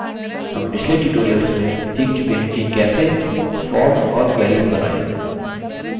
हम पिछले tutorials में सीख चुके हैं कि कैसे forms और queries बनाएँ